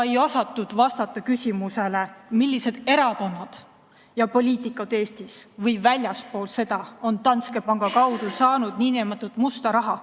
Ei osatud vastata küsimusele, millised erakonnad ja poliitikud Eestis või väljaspool seda on Danske panga kaudu saanud nn musta raha.